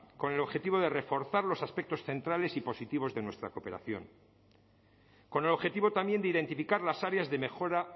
con el objetivo de reforzar los aspectos centrales y positivos de nuestra cooperación con el objetivo también de identificar las áreas de mejora